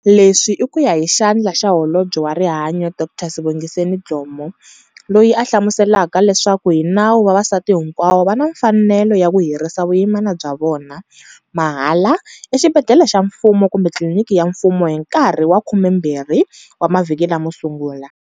Leswi i ku ya hi Xandla xa Holobye wa Rihanyo Dkd Sibongiseni Dhlomo, loyi a hlamuselaka leswaku, hi nawu vavasati hinkwavo va na mfanelo ya ku herisa vuyimana bya vona, mahala, exibedhlele xa mfumo kumbe tliliniki ya mfumo hi nkarhi wa 12 wa mavhiki lamo sungula.